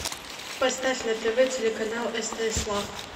поставь на тв телеканал стс лав